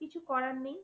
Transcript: কিছু করার নেই